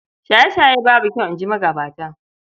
Shaye-shaye babu kyau, in ji magabata.